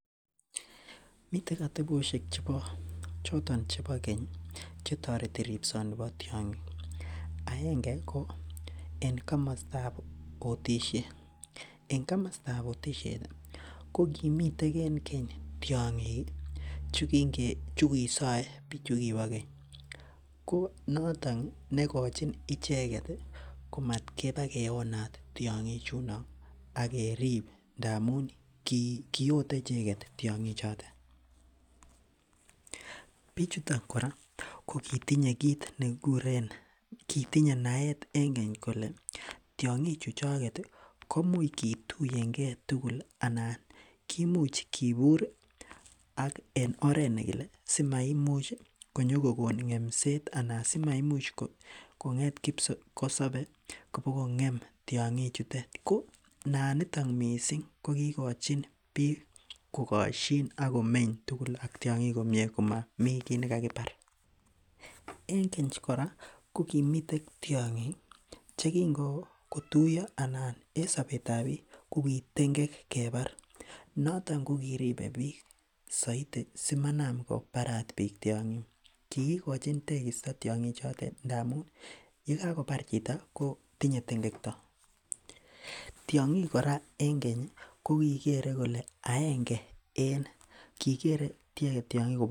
Miten atebosiek chebo choton chebo keny chetoreti ripsoni bo tiong'ik aenge ko en komostab otisiet en komostab otisiet ko kimiten en keny tiong'ik ih chukinge chukisoe biik chukibo keny ko noton nekochin icheket ih komatkobakewonat tiong'ik chuno ak kerip ngamun kiote icheket tiong'ik choton. Bichuton kora kokitinye kit nekikuren kitinye naet en keny kole tiong'ik chu choket koimuch kituiyen gee tugul ih anan kimuch kibur ih ak en oret nekile si maimuch konyokokon ng'emset anan simaimuch kong'et kipkosobe kobokong'em tiong'ik chutet ko naan niton missing ko kikochin biik kokosyin akomemy tugul ak tiong'ik komie komomii kiy nekakibar. En keny kora kokimiten tiong'ik chekin kotuiyo anan en sobetab biik ko ki tengek kebar noton kokiribe biik soito simanam kobarat biik tiong'ik. Kikikochin tegisto tiong'ik chotet ngamun yekakobar chito ko tinye tengekto. Tiong'ik kora en keny ih ko kikere kole aenge en kikere icheket tiong'ik kobo komonut